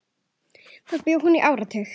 Þar bjó hún í áratug.